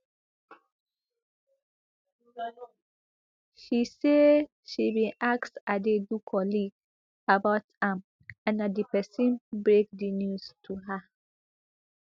she say she bin ask adaidu colleague about am and na di pesin break di news to her